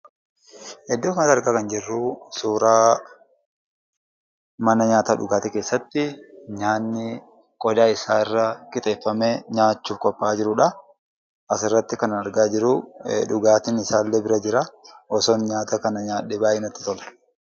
Iddoo kanatti argaa kan jirru, suuraa mana nyaataaf dhugaatii keessatti nyaanni qodaa isaarra qixeeffamee nyaachuuf qophaa'aa jirudha. Asirratti kan argaa jiru, dhugaatiin isaallee bira jira. Osoon nyaata kana nyaadhee, baayyee natti tola.